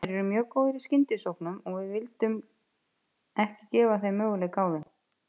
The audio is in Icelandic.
Þeir eru mjög góðir í skyndisóknum og við vildum ekki gefa þeim möguleika á þeim.